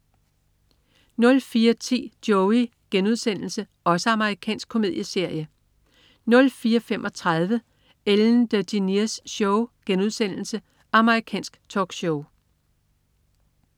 04.10 Joey.* Amerikansk komedieserie 04.35 Ellen DeGeneres Show* Amerikansk talkshow